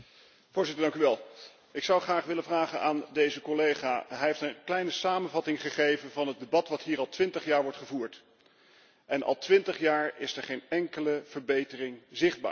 Ik zou graag een vraag willen stellen aan deze collega. Hij heeft een kleine samenvatting gegeven van het debat dat hier al twintig jaar wordt gevoerd en al twintig jaar is er geen enkele verbetering zichtbaar.